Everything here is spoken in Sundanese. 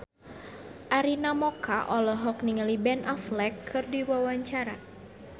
Arina Mocca olohok ningali Ben Affleck keur diwawancara